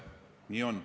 Nii on.